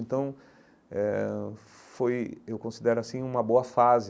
Então, eh ãh foi, eu considero assim, uma boa fase.